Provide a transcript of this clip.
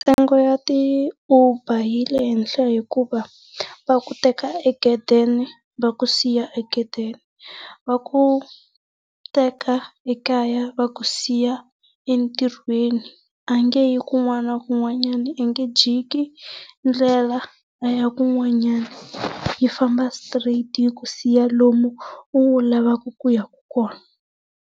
Ntsengo ya ti Uber yi le henhla hikuva va ku teka egedeni va ku siya egedeni. Va ku teka ekaya va ku siya entirhweni, a nge yi kun'wana na kun'wanyana a nge jiki ndlela a ya kun'wanyana, yi famba straight yi ku siya lomu u lavaka ku yaka kona.